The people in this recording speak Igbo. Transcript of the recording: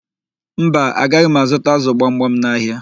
Mba, agaghị m azụta ázụ̀ gbamgbam n'ahịa.